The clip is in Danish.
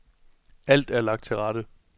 Alt er lagt til rette.